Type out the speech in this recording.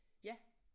Ja